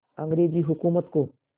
अंग्रेज़ हुकूमत को